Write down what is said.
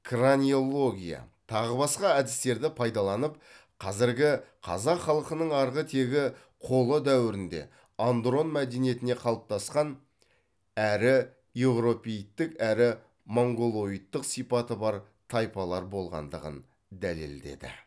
краниология тағы басқа әдістерді пайдаланып қазіргі қазақ халқының арғы тегі қола дәуірінде андрон мәдениеті қалыптасқан әрі еуропеидтік әрі монголоидтық сипаты бар тайпалар болғандығын дәлелдеді